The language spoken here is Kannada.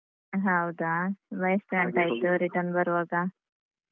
ಹೌದಾ ಮತ್ತೆ ಎಷ್ಟು ಗಂಟೆ ಆಯ್ತು return ಬರುವಾಗ?